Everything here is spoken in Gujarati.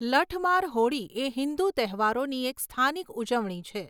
લઠ માર હોળી એ હિન્દુ તહેવારોની એક સ્થાનિક ઉજવણી છે.